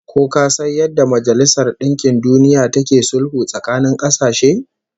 Ko ka san yadda da Majalisar Dinkin Duniya take sulhu tsakanin kasashe?